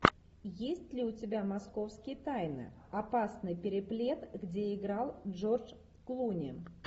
есть ли у тебя московские тайны опасный переплет где играл джордж клуни